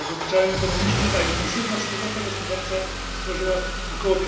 Jak obliczają ekonomiści, ta intensywna współpraca gospodarcza stworzyła ok.